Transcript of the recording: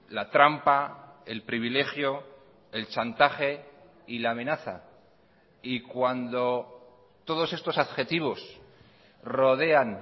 la trampa el privilegio el chantaje y la amenaza y cuando todos estos adjetivos rodean